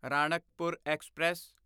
Ranakpur express